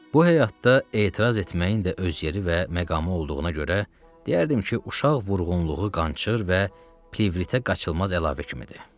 Bu həyatda etiraz etməyin də öz yeri və məqamı olduğuna görə, deyərdim ki, uşaq vurğunluğu qançır və plevritə qaçılmaz əlavə kimidir.